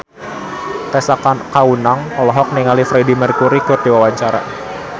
Tessa Kaunang olohok ningali Freedie Mercury keur diwawancara